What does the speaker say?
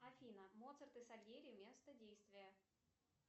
афина моцарт и сольери место действия